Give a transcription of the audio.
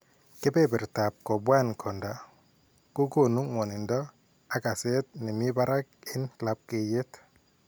Keberbertab kobwan konda kokoonu ngwonindo ak kaseet ne mii barak en labkeyeet